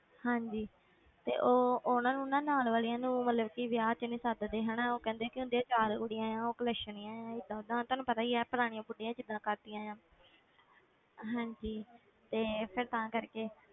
ਹਾਂਜੀ ਤੇ ਉਹ ਉਹਨਾਂ ਨੂੰ ਨਾ ਨਾਲ ਵਾਲੀਆਂ ਨੂੰ ਮਤਲਬ ਕਿ ਵਿਆਹ 'ਚ ਨੀ ਸੱਦਦੇ ਹਨਾ, ਉਹ ਕਹਿੰਦੇ ਕਿ ਉਹਨਾਂ ਦੀਆਂ ਚਾਰ ਕੁੜੀਆਂ ਆਂ ਉਹ ਕਲੇਸ਼ਣੀਆਂ ਹੈ ਏਦਾਂ ਓਦਾਂ ਤੁਹਾਨੂੰ ਪਤਾ ਹੀ ਹੈ ਪੁਰਾਣੀਆਂ ਬੁੱਢੀਆਂ ਜਿੱਦਾਂ ਕਰਦੀਆਂ ਆਂ ਹਾਂਜੀ ਤੇ ਫਿਰ ਤਾਂ ਕਰਕੇ